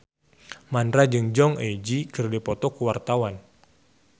Mandra jeung Jong Eun Ji keur dipoto ku wartawan